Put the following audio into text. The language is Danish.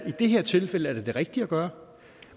i det her tilfælde er det det rigtige at gøre